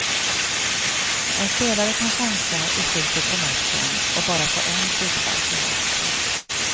En spelare kan chansa i slutet på matchen och bara få en frispark emot sig.